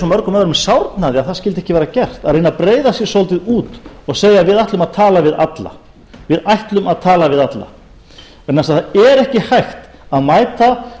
mörgum öðrum sárnaði að það skyldi ekki vera gert að reyna að breiða sig svolítið út og segja við ætlum að tala við alla vegna þess að það er ekki hægt að mæta